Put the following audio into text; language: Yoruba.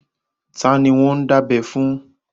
Ta ni wọ́n ń dábẹ́ fún?